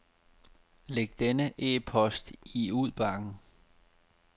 Læg denne e-post i udbakken.